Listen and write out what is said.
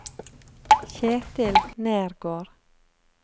Ketil Nergård